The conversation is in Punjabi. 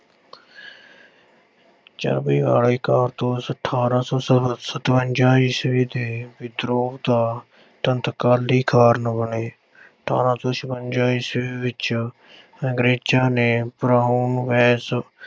ਚਰਬੀ ਵਾਲੇ ਕਾਰਤੂਸ ਅਠ੍ਹਾਰਾਂ ਸੌ ਸ ਅਹ ਸਤਵੰਜਾ ਈਸਵੀ ਦੇ ਵਿਦਰੋਹ ਦਾ ਤਤਕਾਲੀ ਕਾਰਨ ਬਣੇ। ਅਠ੍ਹਾਰਾਂ ਸੌ ਛਪੰਜਾ ਈਸਵੀ ਵਿੱਚ ਅੰਗਰੇਜ਼ਾਂ ਨੇ Brown Bess